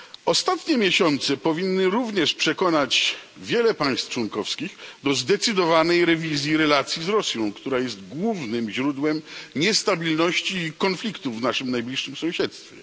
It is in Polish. Ostatnie miesiące powinny również przekonać wiele państw członkowskich do zdecydowanej rewizji relacji z Rosją, która jest głównym źródłem niestabilności i konfliktów w naszym najbliższym sąsiedztwie.